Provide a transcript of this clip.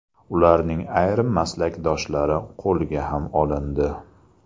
Ularning ayrim maslakdoshlari qo‘lga ham olindi.